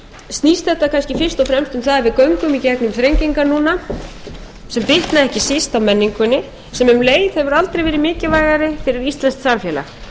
að við göngum í gegnum þrengingar núna sem bitna ekki síst á menningunni sem um leið hefur aldrei verið mikilvægari fyrir íslenskt samfélag